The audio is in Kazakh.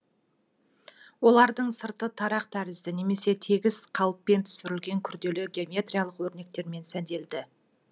олардың сырты тарақ тәрізді немесе тегіс қалыппен түсірілген күрделі геометриялық өрнектермен сәнделді